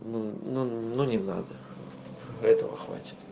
ну ну не надо этого хватит